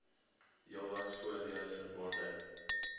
heelwat voordele verbonde